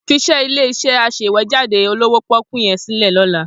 Fiṣẹ́ ilé-iṣẹ́ aṣèwéjádé olówó pọ́ọ́kú yẹn sílẹ̀ lọ́la.